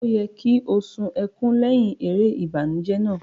O yẹ ki o sun ẹkùn lẹhin èrè ìbànújẹ náà.